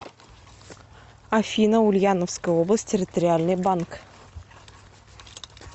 афина ульяновская область территориальный банк